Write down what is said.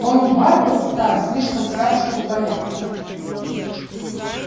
онум бар был стар слишком стар чтобы бояться